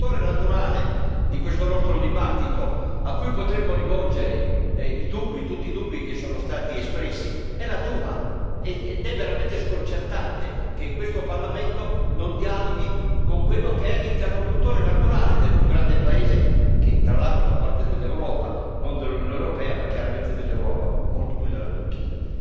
Signor Presidente, onorevoli colleghi, l'interlocutore naturale di questa nostra discussione, a cui potremmo rivolgere i dubbi, tutti i dubbi, che sono stati espressi, è la Duma ed è veramente sconcertante che questo Parlamento non dialoghi con quello che è l'interlocutore naturale del più grande paese che, tra l'altro, fa parte dell'Europa, non dell'Unione europea ma chiaramente dell'Europa, molto più della Turchia.